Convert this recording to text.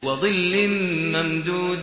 وَظِلٍّ مَّمْدُودٍ